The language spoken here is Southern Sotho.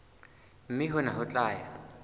mme hona ho tla ya